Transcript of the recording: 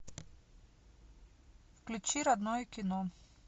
включи родное кино